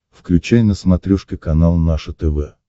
включай на смотрешке канал наше тв